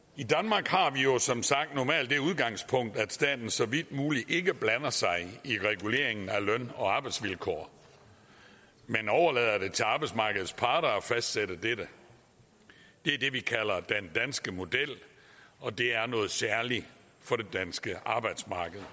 i jo som sagt normalt det udgangspunkt at staten så vidt muligt ikke blander sig i reguleringen af løn og arbejdsvilkår man overlader det til arbejdsmarkedets parter at fastsætte dette det er det vi kalder den danske model og det er noget særligt for det danske arbejdsmarked